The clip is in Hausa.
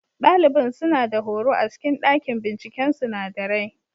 Ɗalibin suna da horo a cikin ɗakin binciken sunadarai.